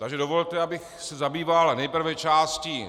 Takže dovolte, abych se zabýval nejprve částí